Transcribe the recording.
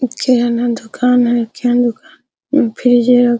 दुकान है --